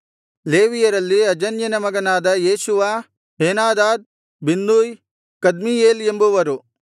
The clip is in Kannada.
ಲೇವಿಯರಲ್ಲಿ ಅಜನ್ಯನ ಮಗನಾದ ಯೇಷೂವ ಹೇನಾದಾದ್ ಬಿನ್ನೂಯ್ ಕದ್ಮೀಯೇಲ್ ಎಂಬುವರು